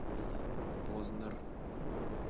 познер